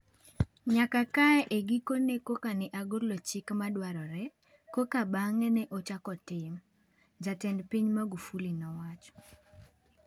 Nyaka kae e gikone koka ne agolo chik ma dwarore, koka bang’e ne ochako tim,” Jatend piny Magufuli nowacho